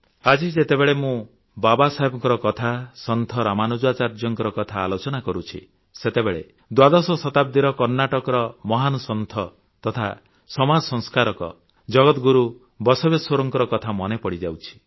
ଆଜି ଯେତେବେଳେ ମୁଁ ବାବା ସାହେବଙ୍କ କଥା ସନ୍ଥ ରାମାନୁଜାଚାର୍ଯ୍ୟଙ୍କ କଥା ଆଲୋଚନା କରୁଛି ଦ୍ୱାଦଶ ଶତାବ୍ଦୀର କର୍ଣ୍ଣାଟକର ମହାନ ସନ୍ଥ ତଥା ସମାଜ ସଂସ୍କାରକ ଜଗଦଗୁରୁ ବସବେଶ୍ୱରଙ୍କ କଥା ମନେ ପଡ଼ିଯାଉଛି